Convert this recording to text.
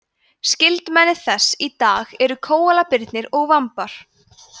skyldmenni þess í dag eru kóalabirnir og vambar